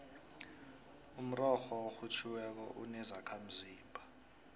umrorho orhutjhiweko unezakhamzimba